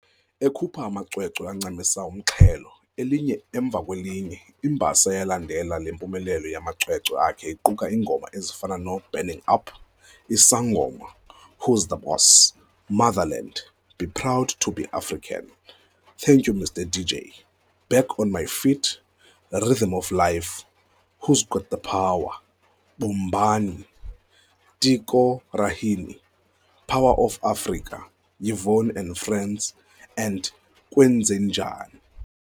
Ekhupha amacwecwe ancamisa umxhelo, elinye emva kwelinye, imbasa eyalandela le mpumelelo yamacwecwe akhe iquka iingoma ezifana noo"Burning Up", i"Sangoma", "Who's The Boss", "Motherland", " Be Proud to be African", "Thank You Mr DJ", "Back on my Feet", "Rhythm of Life", "Who's got the Power", "Bombani, Tiko Rahini, "Power of Afrika", "Yvonne and Friends" and "Kwenzenjani".